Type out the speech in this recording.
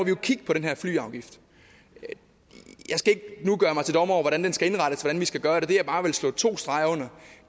jo kigge på den her flyafgift jeg skal ikke nu gøre mig til dommer over hvordan den skal indrettes hvordan vi skal gøre det men det jeg bare vil slå to streger under